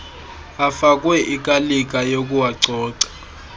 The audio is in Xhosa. afakwe ikalika yokuwacoca